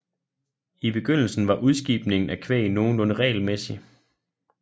I begyndelsen var udskibningen af kvæg nogenlunde regelmæssig